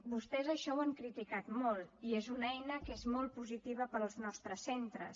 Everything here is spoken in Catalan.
vostès això ho han criticat molt i és una eina que és molt positiva per als nostres centres